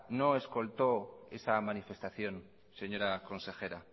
no escoltó esa manifestación señora consejera